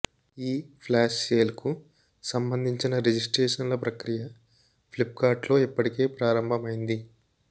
ఈ ఫ్లాష్ సేల్కు సంబంధించిన రిజిస్ట్రేషన్ల ప్రక్రియ ఫ్లిప్కార్ట్లో ఇప్పటికే ప్రారంభమైంది